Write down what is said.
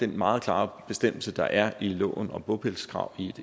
meget klare bestemmelser der er i loven om bopælskrav i